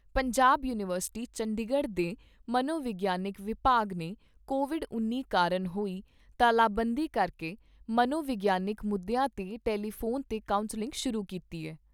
Punjab university Chandigarh ਦੇ ਮਨੋਵਿਗਿਆਨ ਵਿਭਾਗ ਨੇ ਕੋਵਿਡ ਉੱਨੀ ਕਾਰਨ ਹੋਈ ਤਾਲਾਬੰਦੀ ਕਰਕੇ ਮਨੋ ਵਿਗਿਆਨਕ ਮੁੱਦਿਆਂ 'ਤੇ ਟੈਲੀਫੋਨ ਤੇ ਕਾਊਸਲਿੰਗ ਸ਼ੁਰੂ ਕੀਤੀ ਐ।